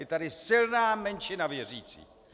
Je tady silná menšina věřících.